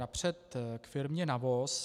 Napřed k firmě NAVOS.